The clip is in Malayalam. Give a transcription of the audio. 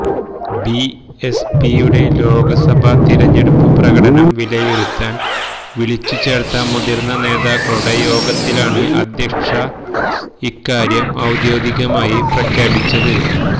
ബിഎസ്പിയുടെ ലോക്സഭാ തിരഞ്ഞെടുപ്പു പ്രകടനം വിലയിരുത്താൻ വിളിച്ചുചേർത്ത മുതിർന്ന നേതാക്കളുടെ യോഗത്തിലാണ് അധ്യക്ഷ ഇക്കാര്യം ഔദ്യോഗികമായി പ്രഖ്യാപിച്ചത്